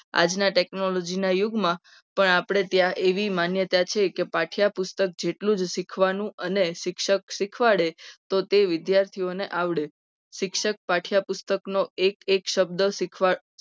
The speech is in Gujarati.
આજના technology ના યુગમાં પણ આપણે ત્યાં એવી માન્યતા છે. કે પાઠ્યપુસ્તક જેટલું જ શીખવાનું અને શિક્ષક શીખવાડે તો તે વિદ્યાર્થીઓને આવડે શિક્ષક પાઠ્યપુસ્તકનો એક એક શબ્દ શીખવાડ